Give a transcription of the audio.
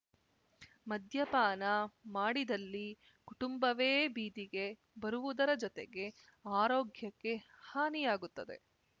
ಮದ್ಯಪಾನ ಮಾಡಿದಲ್ಲಿ ಕುಂಟುಂಬವೇ ಬೀದಿಗೆ ಬರುವುದರ ಜೊತೆಗೆ ಆರೋಗ್ಯಕ್ಕೆ ಹಾನಿಯಾಗುತ್ತದೆ